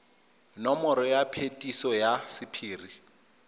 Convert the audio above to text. nomoro ya phetiso ya sephiri